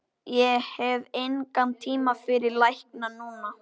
Ég hef engan tíma fyrir lækna núna.